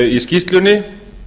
í skýrslunni